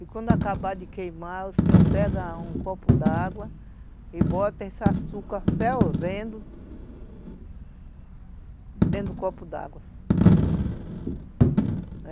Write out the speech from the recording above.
E quando acabar de queimar, o senhor pega um copo d'água e bota esse açúcar fervendo dentro do copo d'água.